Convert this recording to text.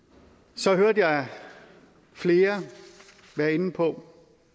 så hørte jeg flere være inde på